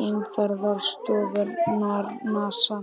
geimferðastofnunarinnar NASA.